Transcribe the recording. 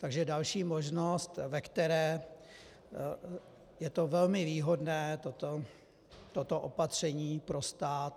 Takže další možnost, ve které je to velmi výhodné toto opatření pro stát.